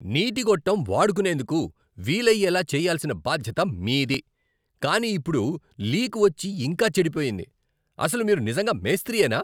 నీటి గొట్టం వాడుకునేందుకు వీలయ్యేలా చేయ్యాల్సిన బాధ్యత మీది, కానీ ఇప్పుడు లీక్ వచ్చి ఇంకా చెడిపోయింది, అసలు మీరు నిజంగా మేస్త్రీయేనా?